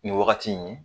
Nin wagati in ye